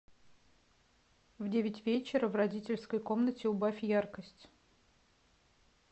в девять вечера в родительской комнате убавь яркость